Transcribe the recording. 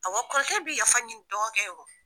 Awɔ, kɔrɔkɛ bɛ yafa ɲini dɔgɔkɛ ye wo.